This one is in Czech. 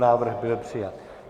Návrh byl přijat.